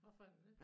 Hvorfor er du det